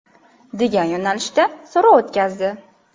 degan yo‘nalishda so‘rov o‘tkazdi .